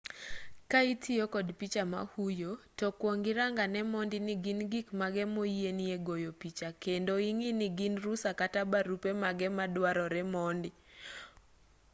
ka itiyo kod picha mahuyo to kwong irang ane mondi ni gin gik mage moyienie goyo picha kendo ing'i ni gin rusa kata barupe mage maduarore mondi